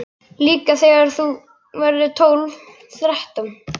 Líka þú þegar þú verður tólf, þrettán.